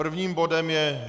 Prvním bodem je